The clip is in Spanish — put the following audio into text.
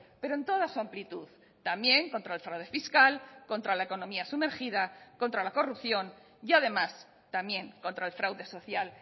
pero en toda su amplitud también contra el fraude fiscal contra la economía sumergida contra la corrupción y además también contra el fraude social